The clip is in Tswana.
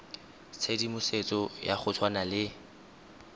tshedimosetso ya go tshwana le